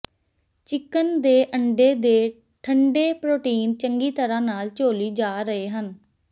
chicken ਦੇ ਅੰਡੇ ਦੇ ਠੰਢੇ ਪ੍ਰੋਟੀਨ ਚੰਗੀ ਤਰ੍ਹਾਂ ਨਾਲ ਝੋਲੀ ਜਾ ਰਹੇ ਹਨ